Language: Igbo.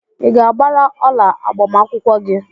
Ị ga-agbara ọla agbamakwụkwọ gị?